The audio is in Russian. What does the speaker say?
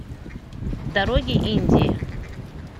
дороги индии